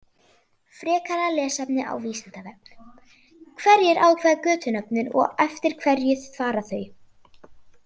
Frekara lesefni á Vísindavefnum: Hverjir ákveða götunöfnin og eftir hverju fara þau?